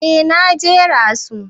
Eh na jera su.